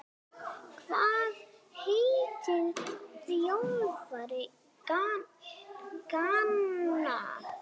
Hvað heitir þjálfari Gana?